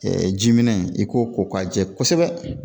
ji minɛ i k'o ko k'a jɛ kosɛbɛ